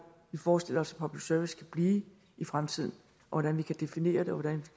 vi forestiller os public service kan blive i fremtiden hvordan vi kan definere det og hvordan